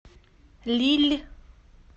лилль